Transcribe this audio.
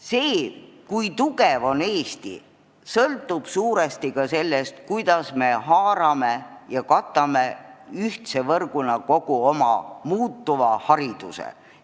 See, kui tugev on Eesti, sõltub suuresti ka sellest, kuidas me katame ühtse võrguna kogu oma muutuva hariduse.